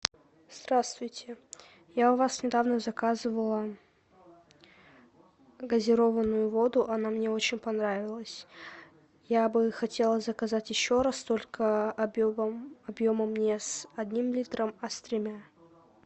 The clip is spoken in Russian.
здравствуйте я у вас недавно заказывала газированную воду она мне очень понравилась я бы хотела заказать еще раз только объемом не с одним литром а с тремя